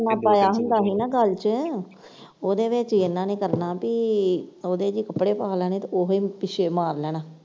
ਪਾਇਆ ਹੁੰਦਾ ਸੀ ਨਾ ਗੱਲ ਚ ਉਹਦੇ ਵਿਚ ਈ ਇਨ੍ਹਾਂ ਨੇ ਕਰਨਾ ਕੀ ਉਹਦੇ ਚ ਈ ਕੱਪੜੇ ਪਾ ਲੈਣੇ ਤੇ ਉਹੀ ਪਿੱਛੇ ਮਾਰ ਲੈਣਾ।